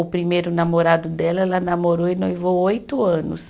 O primeiro namorado dela, ela namorou e noivou oito anos.